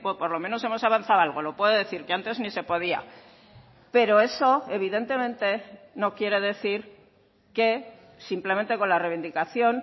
por lo menos hemos avanzado algo lo puedo decir que antes ni se podía pero eso evidentemente no quiere decir que simplemente con la reivindicación